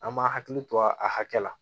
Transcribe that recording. An ma hakili to a hakɛ la